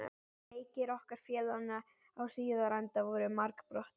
Leikir okkar félaganna á Hlíðarenda voru margbrotnir.